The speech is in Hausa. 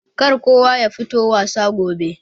Kar kowa yafito wasa gobe.